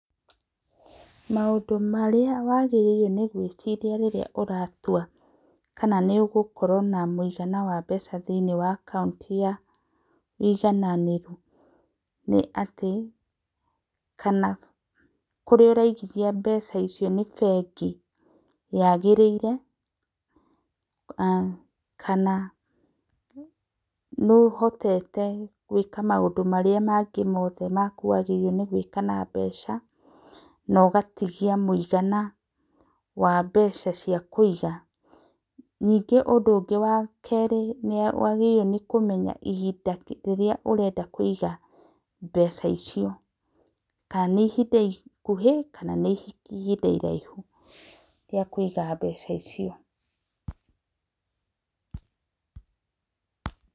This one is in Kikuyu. Maũndũ marĩa wagĩrĩrĩire nĩ gwĩcirĩa rĩrĩa ũratũa kana nĩ ũgũkoro na mũĩgana wa mbeca thĩ inĩ wa akaunti ya ũigananĩru, nĩ atĩ kana kũrĩa ũraigĩthĩa mbeca icio nĩ bengĩ yagĩrĩire, kana nĩ ũhotete gwĩka maũndũ marĩa mangĩ mothe makũagĩrĩrĩo nĩ gwĩka na mbeca na ũgatĩgĩa mũĩgana wa mbeca cia kũĩga nĩnge ũndũ ũngĩ wa kerĩ nĩ wagĩrĩire nĩ kũmenya ihinda rĩrĩa ũrenda kũiga mbeca icio, kana nĩ ihinda ikũhĩ kana nĩ ihinda iraihũ rĩa kũiga mbeca icio.